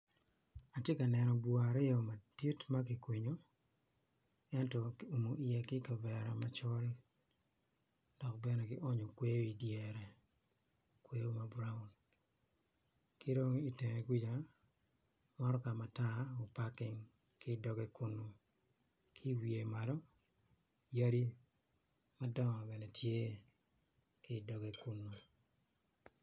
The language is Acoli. Atye ka neno bur aryo ma kikwinyo kiumo wiye ki kavera macol dok bene kionyo kweyo idyere kweyo ma braun ki dong itenge kuca motoka matar opaking ki i doge kunu ki iwiye Malo yadi madongo bene tye ki idoge kunu.